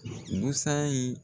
Musa ye